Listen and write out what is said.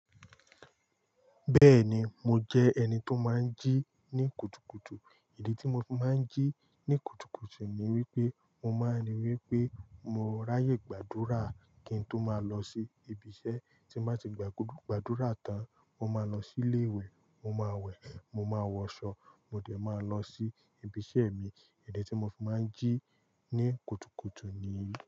Bẹ́ẹ̀ni, mo jẹ́ ẹni tó máa ń jí ní kùtùkùtù. Ìdí tí mo máa ń jí ní kùtùkùtù ni wípé mo máa ń ri wípé mo ráyè gbàdúrà kí n tó máa lọ sí ibi iṣẹ́ tí mo bá ti gba gbogbo gbàdúrà tán. Mo máa lọ sí ilé wẹ̀, mo máa wẹ̀, mo máa wọ aṣọ, mo dẹ̀ máa lọ sí ibi iṣẹ́ mi. Ìdí tí mo fi máa ń jí ní kùtùkùtù ni yìí.